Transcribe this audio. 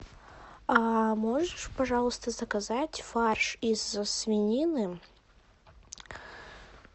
а можешь пожалуйста заказать фарш из свинины